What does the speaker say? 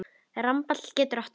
Rambald getur átt við